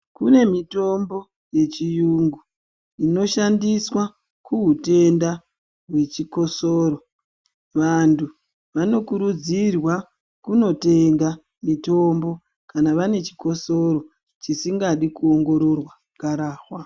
Kune mitombo yechiyungu, inoshandiswa kuhutenda nechikosoro. Vantu vanokurudzirwa kunotenga mitombo kana vane chikosoro chisingadi kuongororwa gararwa.